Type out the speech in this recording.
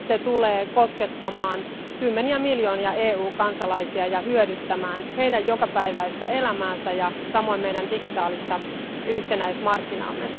Se tulee koskemaan kymmeniä miljoonia EU kansalaisia ja hyödyttämään heidän jokapäiväistä elämäänsä ja samoin meidän digitaalista yhtenäismarkkinaamme.